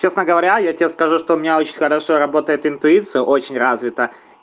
честно говоря я тебе скажу что у меня очень хорошо работает интуиция очень развита